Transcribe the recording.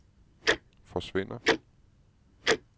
forsvinder